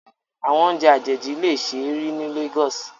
Awọn ounjẹ ajeji le ṣee ri ni Lagos